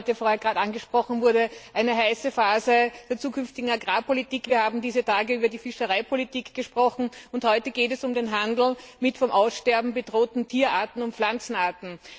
Wir haben, wie vorhin gerade angesprochen wurde, eine heiße Phase der zukünftigen Agrarpolitik, wir haben dieser Tage über die Fischereipolitik gesprochen, und heute geht es um den Handel mit vom Aussterben bedrohten Tier und Pflanzenarten.